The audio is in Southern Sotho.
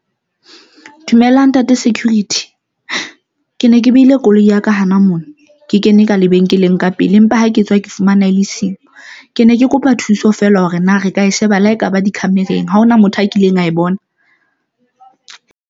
Dumela Ntate Security ke ne ke behile koloi ya ka hana mona ke kene ka lebenkeleng ka pele empa ha ke tswa ke fumana e le siyo, ke ne ke kopa thuso feela hore na re ka sheba la ekaba di-camera-eng. Ha hona motho a kileng a e bona.